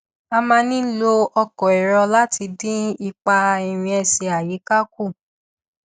a máa ń lo ọkọ èrò láti dín ipa ìrìn ẹsẹ àyíká kù